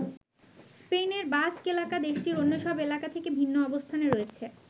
স্পেনের বাস্ক এলাকা দেশটির অন্য সব এলাকা থেকে ভিন্ন অবস্থানে রয়েছে।